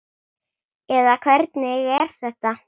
eða hvernig er þetta?